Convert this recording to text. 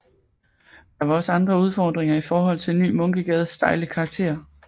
Der var også andre udfordringer i forhold til Ny Munkegades stejle karakter